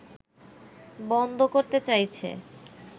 বন্ধ করতে চাইছে